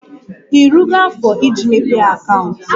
Irugo afo iji mepee akaụntụ?